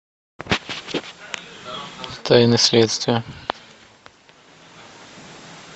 тайны следствия